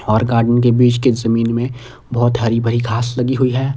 और गार्डन के बीच के जमीन में बहोत हरी भरी घास लगी हुई है।